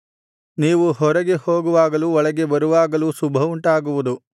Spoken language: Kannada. ನೀವು ಹೊರಗೆ ಹೋಗುವಾಗಲೂ ಒಳಗೆ ಬರುವಾಗಲೂ ಶುಭವುಂಟಾಗುವುದು